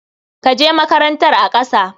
Ka je makarantar a ƙasa.